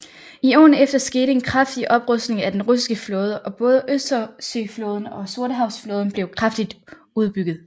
I årene efter skete en kraftig oprustning af den russiske flåde og både Østersøflåden og Sortehavsflåden blev kraftigt udbygget